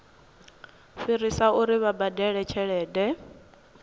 fhirisa uri vha badele tshelede